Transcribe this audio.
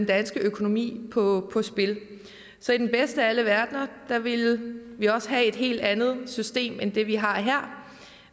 danske økonomi på spil så i den bedste af alle verdener ville vi også have et helt andet system end det vi har her